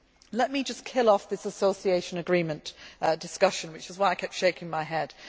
Let me just kill off this association agreement discussion, which is why I kept shaking my head.